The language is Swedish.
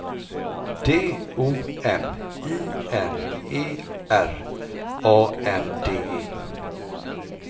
D O M I N E R A N D E